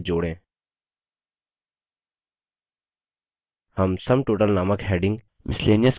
हम sum total नामक heading miscellaneous के अंतर्गत देते हैं